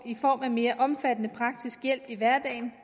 i form af mere omfattende praktisk hjælp i hverdagen